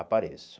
Apareço.